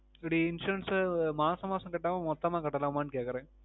ஒரு Insurance அஹ் மாசம் மாசம் கட்டாமா மொத்தமா கட்டலாமா னு கேட்குறேன்